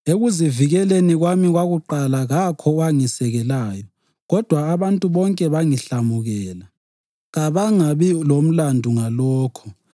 Ekuzivikeleni kwami kwakuqala kakho owangisekelayo kodwa abantu bonke bangihlamukela. Kabangabi lamlandu ngalokho.